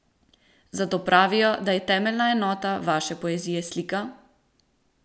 Zato pravijo, da je temeljna enota vaše poezije slika?